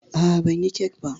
A'a, banyi kek ba.